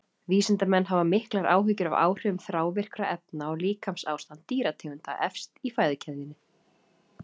Vísindamenn hafa haft miklar áhyggjur af áhrifum þrávirkra efna á líkamsástand dýrategunda efst í fæðukeðjunni.